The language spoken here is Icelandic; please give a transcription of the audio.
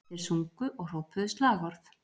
Þeir sungu og hrópuðu slagorð